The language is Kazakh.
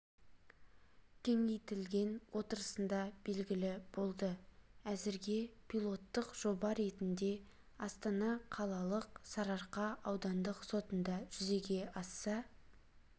кеңейтілген отырысында белгілі болды әзірге пилоттық жоба ретінде астана қалалық сарыарқа аудандық сотында жүзеге аса